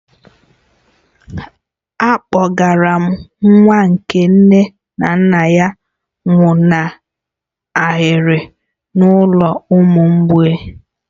A kpọgara nwa nke nne na nna ya nwụnahụrụ n'ụlọ ụmụ mgbei